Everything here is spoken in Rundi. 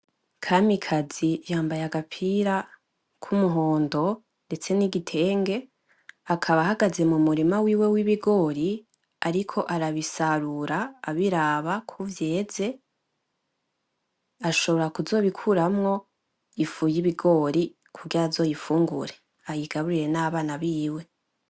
Kamikazi yamabaye agapira kumuhondo, ndetse nigitenge. Akaba ahagaze mumurima wiwe wibigori ariko arabisarura abiraba ko vyeze. Ashobora kuzobikuramwo ifu yibigori kugira azoyifungure, ayigaburire nabana biwe.